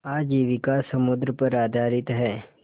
आजीविका समुद्र पर आधारित है